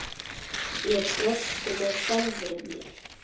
Ég brosti með sjálfri mér.